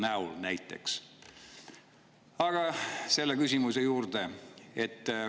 Aga nüüd küsimuse juurde.